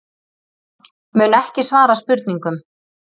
Mun ekki svara spurningum